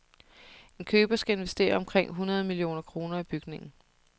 En køber skal investere omkring hundrede millioner kroner i bygningen.